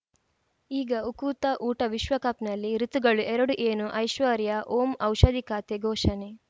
ಈಗ ಉಕುತ ಊಟ ವಿಶ್ವಕಪ್‌ನಲ್ಲಿ ಋತುಗಳು ಎರಡು ಏನು ಐಶ್ವರ್ಯಾ ಓಂ ಔಷಧಿ ಖಾತೆ ಘೋಷಣೆ